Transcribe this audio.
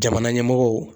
Jamana ɲɛmɔgɔw